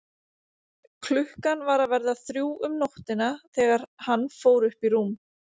Klukkan var að verða þrjú um nóttina þegar hann fór upp í rúm.